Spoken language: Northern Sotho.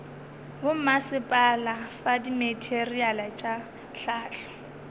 bommasepala fa dimateriale tša hlahlo